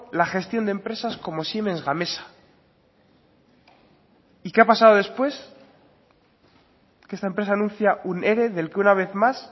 la gestión de empresas como siemens gamesa y qué ha pasado después que esta empresa anuncia un ere del que una vez más